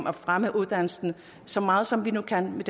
at fremme uddannelserne så meget som vi nu kan med